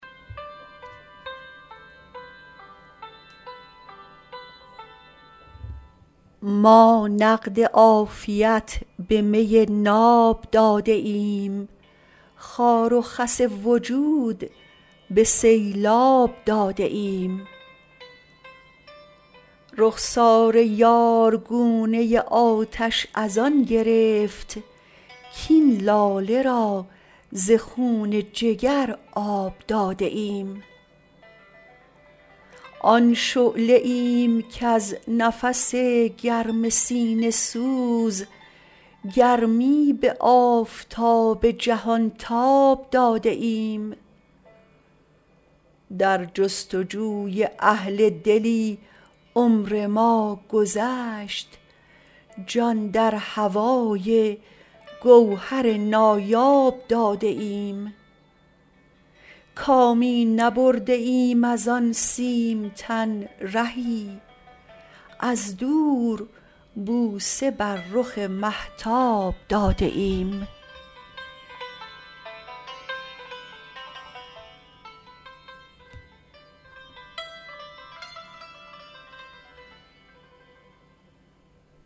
ما نقد عافیت به می ناب داده ایم خار و خس وجود به سیلاب داده ایم رخسار یار گونه آتش از آن گرفت کاین لاله را ز خون جگر آب داده ایم آن شعله ایم کز نفس گرم سینه سوز گرمی به آفتاب جهان تاب داده ایم در جستجوی اهل دلی عمر ما گذشت جان در هوای گوهر نایاب داده ایم کامی نبرده ایم از آن سیم تن رهی از دور بوسه بر رخ مهتاب داده ایم